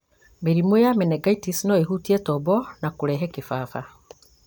mĩrimũ ta menengaitĩci no ĩhutie tombo na kũrehe kĩbaba